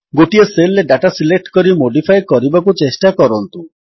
ଗୋଟିଏ ସେଲ୍ ରେ data select କରି ମୋଡିଫାଏ କରିବାକୁ ଚେଷ୍ଟା କରନ୍ତୁ